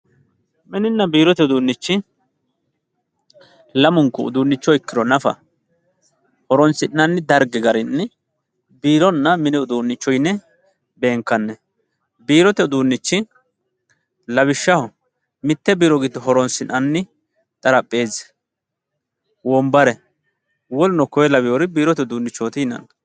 mininna biirote uduunnichi lamunku uduunnicho ikkiro nafa horonsi'nanni dargi garinni biironna mini uduunnicho yine beenkanni biirote uduunnichi lawishshaho mitte biiro giddo horonsi'nanni xarapheezzi wonbare woluno koye laweeri biirote uduunnichooti yinanni.